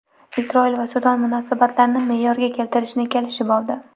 Isroil va Sudan munosabatlarni me’yorga keltirishni kelishib oldi.